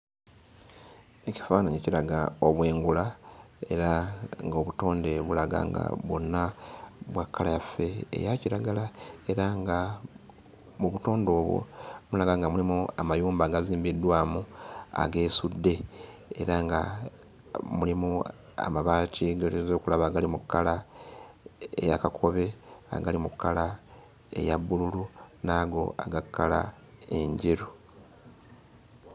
Ekifaananyi kiraga obwengula era ng'obutonde bulaga nga bwonna bwa kkala yaffe eya kiragala. Era nga mu butonde obwo tulaba nga mulimu amayumba agazimbiddwamu ageesudde era nga mulimu amabaati ge tuyinza okulaba agali mu kkala eya kakobe, agali mu kkala eya bbululu, n'ago aga kkala enjeru.